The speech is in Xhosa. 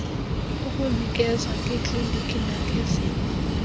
ukunikeza ngeekliniki nangezinye